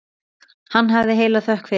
Hafi hann heila þökk fyrir.